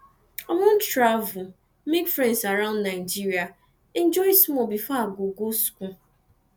i wan travel make friends around nigeria enjoy small before i go go school